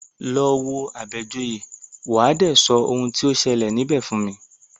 Lọ wo Àbẹ̀joyè, wà á dé sọ oun tí o ṣẹlẹ̀ níbẹ̀ fún mi!